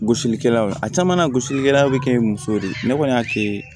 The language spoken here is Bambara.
Gosilikɛlaw a caman na gosilikɛlaw be kɛ ye musow de kɔni y'a kɛ